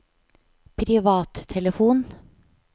privattelefon